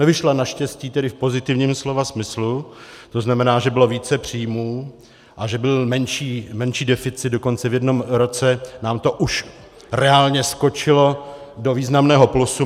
Nevyšla naštěstí, tedy v pozitivním slova smyslu, to znamená, že bylo více příjmů a že byl menší deficit, dokonce v jednom roce nám to už reálně skočilo do významného plusu.